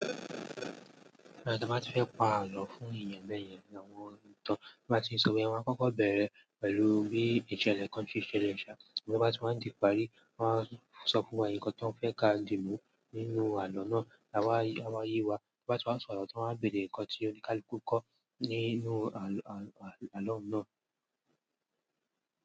Bẹ́ẹ̀ ni tí wọ́n bá ti fẹ́ pa àlọ́ fún iyanbẹ̀yẹn ni àwọn ń tàn. Bí wọ́n bá ti ń sọ wé wọ́n á kọ́kọ́ bẹ̀rẹ̀ pẹ̀lú bí ìṣẹ̀lẹ̀ country ṣe le ṣa, ṣùgbọ́n bí wọ́n bá ti ń di ìparí, wọ́n á sọ fún wa ǹkan tí wọ́n fẹ́ ka dì mú nínú àlọ́ náà la wá, a máa yí wa bí wọ́n bá ti wá sọ àlọ́ tí wọ́n á gbèdí ǹkan tí ó ní kaluku kọ́ nínú àlọ́, àlọ́ náà.